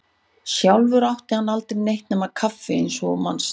Sjálfur átti hann aldrei neitt með kaffi eins og þú manst.